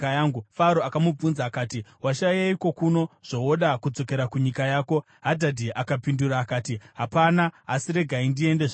Faro akamubvunza akati, “Washayeiko kuno zvowoda kudzokera kunyika yako?” Hadhadhi akapindura akati, “Hapana, asi regai ndiende zvangu!”